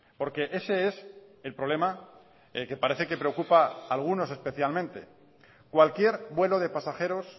porque ese es el problema que parece que preocupa algunos especialmente cualquier vuelo de pasajeros